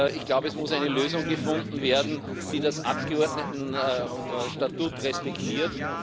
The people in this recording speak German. Ich glaube, es muss eine Lösung gefunden werden, die das Abgeordnetenstatut respektiert.